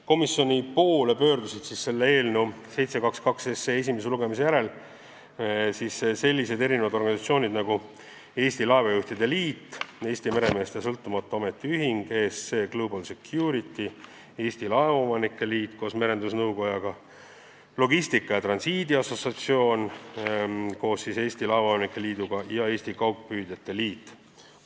Komisjoni poole pöördusid 722 SE esimese lugemise järel sellised organisatsioonid nagu Eesti Laevajuhtide Liit, Eesti Meremeeste Sõltumatu Ametiühing, ESC Global Security, Eesti Laevaomanike Liit koos Merendusnõukojaga, Logistika ja Transiidi Assotsiatsioon koos Eesti Laevaomanike Liiduga ja Eesti Kaugpüüdjate Liit.